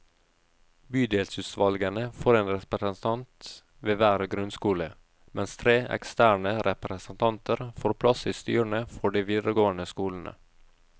Bydelsutvalgene får én representant ved hver grunnskole, mens tre eksterne representanter får plass i styrene for de videregående skolene.